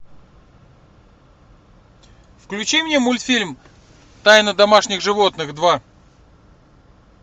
включи мне мультфильм тайна домашних животных два